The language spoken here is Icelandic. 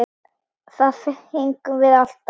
Það fengum við alltaf.